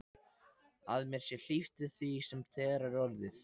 Að mér sé hlíft við því sem þegar er orðið.